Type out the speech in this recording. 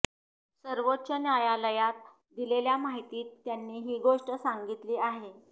सर्वोच्च न्यायालयाला दिलेल्या माहितीत त्यांनी ही गोष्टी सांगितली आहे